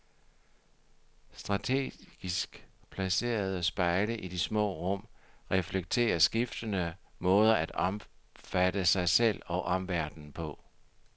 Strategisk placerede spejle i de små rum reflekterer skiftende måder at opfatte sig selv og omverdenen på.